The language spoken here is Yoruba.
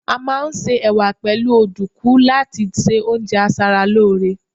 a ma n se ẹwà pẹlu ọdunkun láti ṣe oúnjẹ asaralore